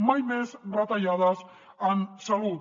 mai més retallades en salut